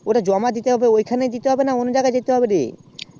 ওটা জমা দিতে হবে ঐখানেই না অন্যনা জায়গায় দিতে হবে